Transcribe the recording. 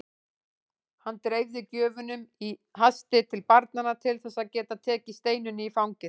Hann dreifði gjöfunum í hasti til barnanna til þess að geta tekið Steinunni í fangið.